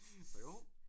Så jo